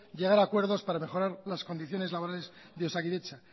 llegar a acuerdos para mejorar las condiciones laborales de osakidetza